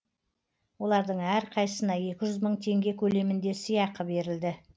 олардың әрқайсысына екі жүз мың теңге көлемінде сыйақы берілді